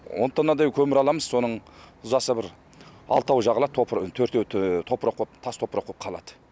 он тоннадай көмір аламыз соның ұзаса бір алтауы жағылады төртеуі тас топырақ боп қалады